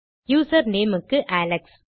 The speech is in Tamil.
யூசர் நேம் க்கு அலெக்ஸ்